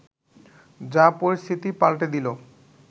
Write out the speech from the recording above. যা পরিস্থিতি পাল্টে দিল